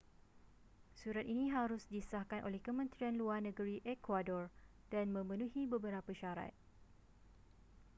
surat ini harus disahkan oleh kementerian luar negeri ekuador dan memenuhi beberapa syarat